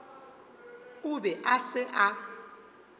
o be a se a